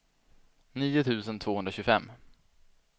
nio tusen tvåhundratjugofem